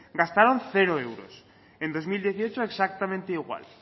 gastaron cero euros en dos mil dieciocho exactamente igual